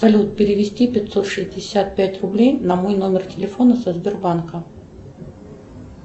салют перевести пятьсот шестьдесят пять рублей на мой номер телефона со сбербанка